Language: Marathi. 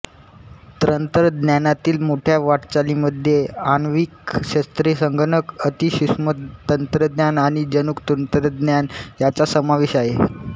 तंत्रज्ञानातील मोठ्या वाटचालींमध्ये आण्विक शस्त्रे संगणक अतिसूक्ष्मतंत्रज्ञान आणि जनुक तंत्रज्ञान यांचा समावेश आहे